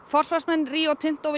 forsvarsmenn Rio Tinto